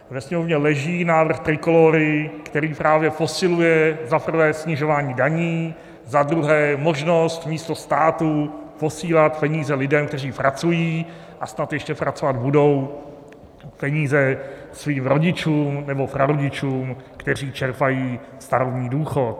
Ve Sněmovně leží návrh Trikolóry, který právě posiluje, za prvé, snižování daní, za druhé možnost místo státu posílat peníze lidem, kteří pracují a snad ještě pracovat budou, peníze svým rodičům nebo prarodičům, kteří čerpají starobní důchod.